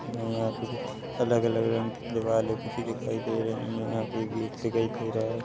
यहाँ पे कुछ अलग-अलग रंग के दीवाले पुती दिखाई दे रही हैं यहाँ पे एक गेट दिखाई दे रहा है।